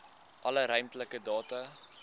alle ruimtelike data